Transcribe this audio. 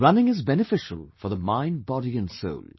Running is beneficial for the mind, body and soul